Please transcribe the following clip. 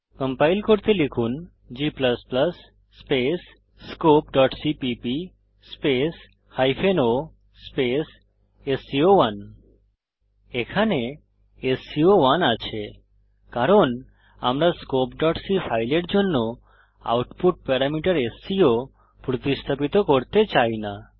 compile করতে লিখুন g scopeসিপিপি o স্কো1 এখানে স্কো1 আছে কারণ আমরা scopeসি ফাইলের জন্য আউটপুট প্যারামিটার স্কো প্রতিস্থাপিত করতে চাই না